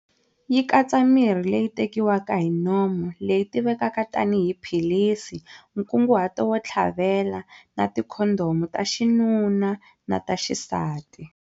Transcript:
Yi katsa mirhi leyi tekiwaka hi nomo, leyi tivekaka tanihi 'philisi', nkunguhato wo tlhavela, na tikhondhomu ta xinuna na ta xisati.